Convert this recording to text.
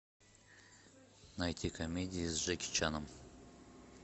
найти комедии с джеки чаном